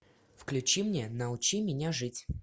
включи мне научи меня жить